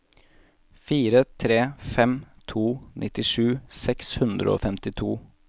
fire tre fem to nittisju seks hundre og femtito